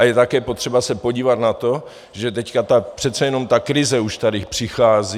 A je také potřeba se podívat na to, že teď přece jenom ta krize už tady přichází.